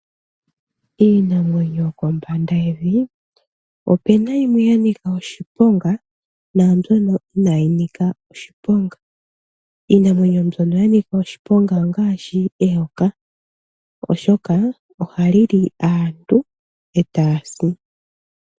Iinamwenyo yokombanda yevi opena yimwe ya nika oshiponga naambyono inaayi nika oshiponga. Iinamwenyo mbyono ya nika oshiponga ongaashi eyoka oshoka ohali li aantu etaya si.